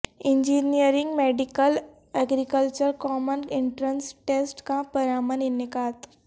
engineering medical agriculture common entrance test کا پرامن انعقاد